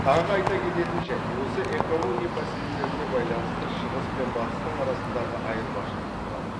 тағы айта кететін жайт осы экология мәселелеріне байланысты шығыс пен батыстың арасындағы айырмашылық туралы